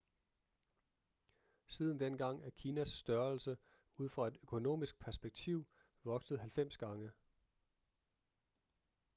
siden dengang er kinas størrelse ud fra et økonomisk perspektiv vokset 90 gange